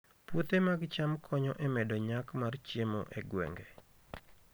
Puothe mag cham konyo e medo nyak mar chiemo e gwenge